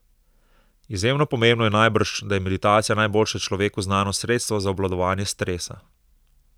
Izjemno pomembno je najbrž, da je meditacija najboljše človeku znano sredstvo za obvladovanje stresa.